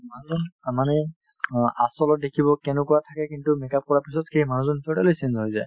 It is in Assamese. মানুহজন অ মানে অ আচলত দেখিব কেনেকুৱা থাকে কিন্তু make up কৰাৰ পিছত সেইমানুহজন totally change হৈ যায়